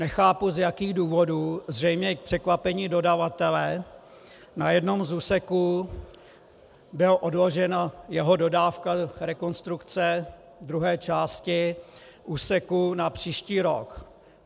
Nechápu, z jakých důvodů, zřejmě k překvapení dodavatele, na jednom z úseků byla odložena jeho dodávka rekonstrukce druhé části úseku na příští rok.